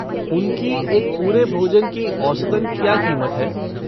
उनकी एक पूरे भोजन की औसतन क्या क़ीमत है?